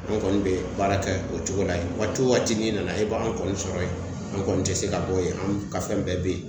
An kɔni be baara kɛ o cogo la. Waati wo waati n'i nana e b'an kɔni sɔrɔ yen , an kɔni te se ka bɔ yen , an ka fɛn bɛɛ be yen.